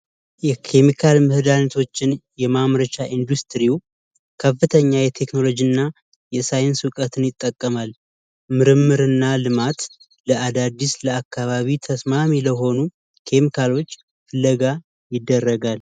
የኬሚካል መድሀኒቶችን የማምረቻ ኢንዱስትሪው ከፍተኛ የቴክኖሎጂ እና የሳይንስ እውቀትን ይጠቀማል። ምርምር እና ልማት ለአዳዲስ ለአካባቢ ተስማሚ ለሆኑ ኬሚካሎች ፍለጋ ይደረጋል።